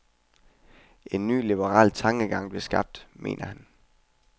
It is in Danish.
En ny liberal tankegang blev skabt, mener han.